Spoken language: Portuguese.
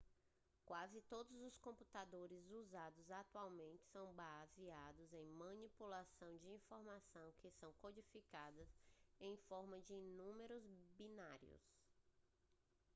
quase todos os computadores usados atualmente são baseados em manipulação de informações que são codificadas em forma de números binários